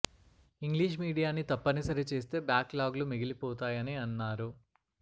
English మీడియాన్ని తప్పనిసరి చేస్తే బ్యాక్ లాగ్ లు మిగిలిపోతాయని అన్నారు